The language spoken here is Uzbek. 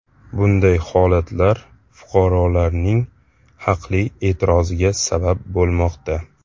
Bunday holatlar fuqarolarning haqli e’tiroziga sabab bo‘lmoqda.